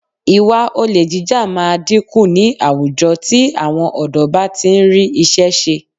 Ìwà olè jíjà máa dínkù ní àwùjọ tí àwọn ọ̀dọ́ bá ti ń rí iṣẹ́ ṣe